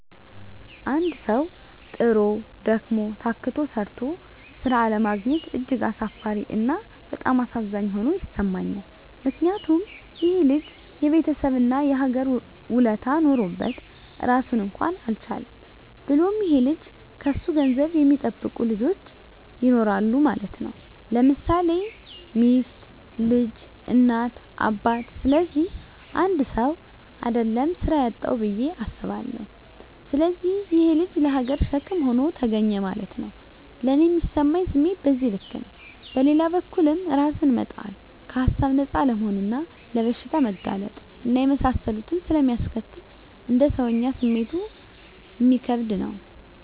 አንድ ሠዉ, ጥሮ: ደክሞ :ታክቶ ተምሮ ስራ አለማግኘት እጅግ አሳፋሪ እና በጣም አሳዛኝ ሆኖ ይሠማኛል ምክንያቱም :ይሄ ልጅ የቤተሠብ እና የሀገር ውለታ ኖሮበት ራሱን እንኳን አልቻለም። ብሎም ይሄ ልጅ ከሱ ገንዘብ የሚጠብቁ ልጆች ይኖራሉ ማለት _ለምሳሌ ሚስት: ልጅ: እናት :አባት ስለዚህ 1ሰው: አደለም ስራ ያጣዉ ብየ አስባለሁ። ስለዚህ ይሄ_ ልጅ ለሀገርም ሸክም ሆኖ ተገኘ ማለት ነዉ። ለኔ ሚሰማኝ ስሜት በዚህ ልክ ነው። በሌላ በኩልም እራስን መጣል ከሀሳብ ነፃ አለመሆንና ለበሽታ መጋለጥ እና የመሳሰሉትን ስለሚያስከትል: እንደ ሰወኛ ስሜቱ እሚከብድ ነው